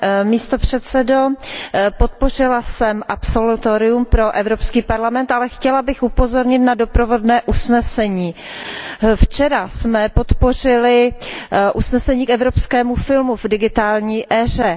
Pane předsedající, podpořila jsem absolutorium pro Evropský parlament, ale chtěla bych upozornit na doprovodné usnesení. Včera jsme podpořili usnesení o evropském filmu v digitální éře.